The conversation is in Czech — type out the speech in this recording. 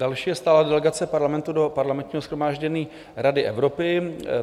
Další je stálá delegace Parlamentu do Parlamentního shromáždění Rady Evropy.